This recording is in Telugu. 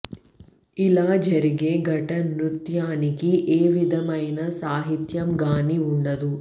ఇలా జరిగే ఘట నృత్యానికి ఏ విధమైన సాహిత్యం గానీ వుండదు